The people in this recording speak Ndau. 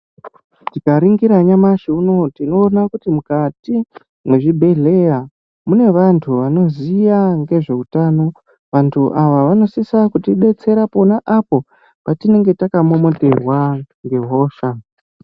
Tikaringira nyamushi mukati muzvibhehlera mune vanthu vanoziya ngezveutana. Vanthu ava vanosisa kutidetsera pona apo patinenge takamomoterwa ngehosha.